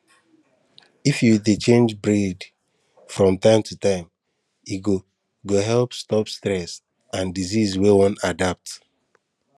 if you dey change breed from time to time e go go help stop stress and disease wey wan adapt